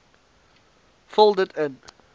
vul dit in